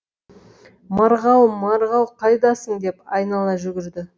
марғау марғау қайдасың деп айнала жүгірді